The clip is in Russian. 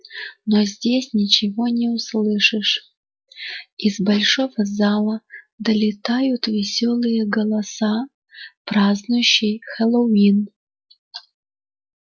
но здесь ничего не услышишь из большого зала долетают весёлые голоса празднующих хэллоуин